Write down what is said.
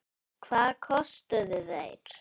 Hvað kostuðu þeir?